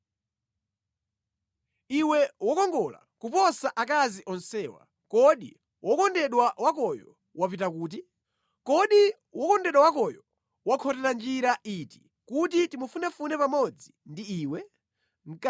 Iwe wokongola kuposa akazi onsewa, kodi wokondedwa wakoyo wapita kuti? Kodi wokondedwa wakoyo wakhotera njira iti kuti timufunefune pamodzi ndi iwe?